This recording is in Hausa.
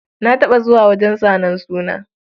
Na taɓa zuwa wajen zanen suna.